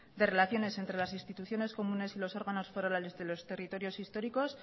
de relaciones entre las instituciones comunes y los órganos forales de los territorios históricos